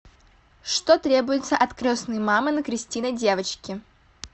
что требуется от крестной мамы на крестины девочки